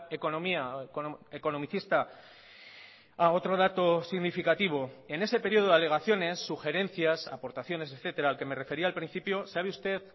economía economicista ah otro dato significativo en ese periodo de alegaciones sugerencias aportaciones etcétera al que me refería al principio sabe usted